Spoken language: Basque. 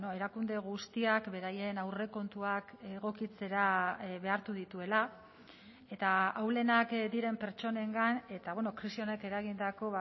erakunde guztiak beraien aurrekontuak egokitzera behartu dituela eta ahulenak diren pertsonengan eta krisi honek eragindako